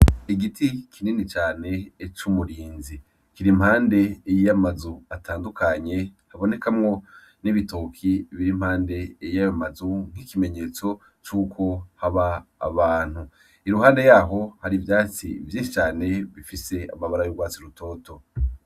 Igiti kinini cane ecoumurinzi kira impande eyiyo amazu atandukanye habonekamwo n'ibitoki bira impande eyiy a amazu nk'ikimenyetso c'uko haba abantu iruhande yaho hari ivyatsi vyishi cane bifise amabara y'urwatsi rutoto.